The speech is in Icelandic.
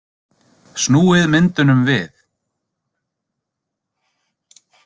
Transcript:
Snúið myndunum við?